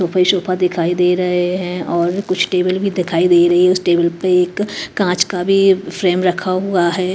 Sofa ही sofa दिखाई दे रहे हैं और कुछ टेबल भी दिखाई दे रही है उस टेबल पे एक कांच का भी फ्रेम रखा हुआ है।